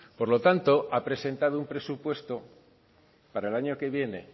por lo tanto ha presentado un presupuesto para el año que viene